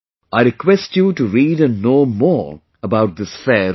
I request you to read and know more about this fair as well